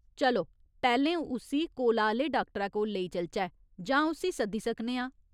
चलो, पैह्‌लें उस्सी कोला आह्‌ले डाक्टरै कोल लेई चलचै, जां उस्सी सद्दी सकने आं।